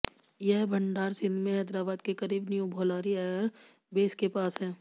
यह भंडार सिंध में हैदराबाद के करीब न्यू भोलारी एअर बेस के पास है